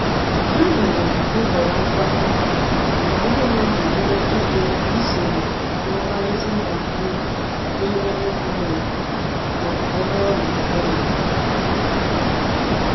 Ha nyere nhọrọ nkwakọ, ka ndi madụ nwee ike isonye na mkparịta ụka ahụ n'ime intanetị ma ọbụrụ na ọdi mkpa.